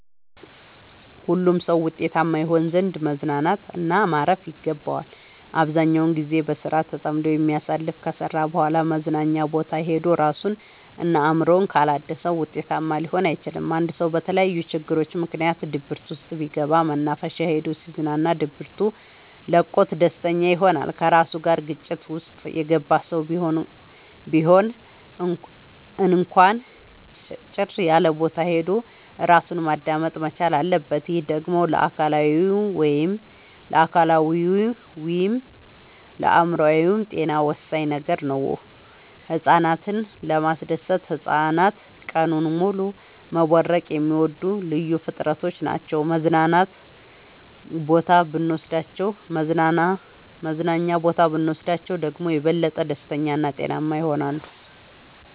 ሁሉም ሰው ውጤታማ ይሆን ዘንድ መዝናናት እና ማረፍ ይገባዋል። አብዛኛውን ግዜውን በስራ ተጠምዶ የሚያሳልፍ ከስራ በኋላ መዝናኛ ቦታ ሄዶ እራሱን እና አእምሮውን ካላደሰ ውጤታማ ሊሆን አይችልም። አንድ ሰው በተለያዩ ችግሮች ምክንያት ድብርት ውስጥ ቢገባ መናፈሻ ሄዶ ሲዝናና ድብቱ ለቆት ደስተኛ ይሆናል። ከራሱ ጋር ግጭት ውስጥ የገባ ሰው ቢሆን እንኳን ጭር ያለቦታ ሄዶ እራሱን ማዳመጥ መቻል አለበት። ይህ ደግሞ ለአካላዊይም ለአእምሮአዊም ጤና ወሳኝ ነገር ነው። ህፃናትን ለማስደሰት ህፃናት ቀኑን ሙሉ መቦረቅ የሚወዱ ልዩ ፍጥረቶች ናቸው መዝናና ቦታ ብኖስዳቸው ደግሞ የበለጠ ደስተኛ እና ጤናማ ይሆናሉ።